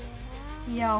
já